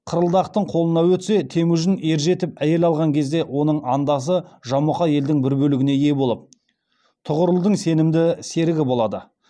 қырылдақтың қолына өтсе темужін ержетіп әйел алған кезде оның андасы жамұқа елдің бір бөлігіне ие болып тұғырылдың сенімді серігі болады